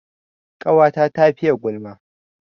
Ƙawata ta fiye gulma